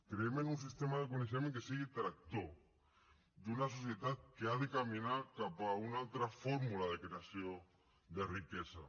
creiem en un sistema de coneixement que sigui tractor d’una societat que ha de caminar cap a una altra fórmula de creació de riquesa